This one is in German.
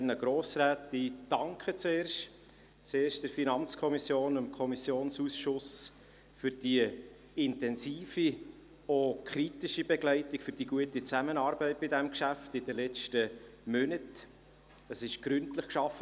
Zuerst danke ich der FiKo und dem Kommissionsausschuss für die intensive, auch kritische Begleitung und die gute Zusammenarbeit während der letzten Monate bei diesem Geschäft.